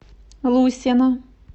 лусена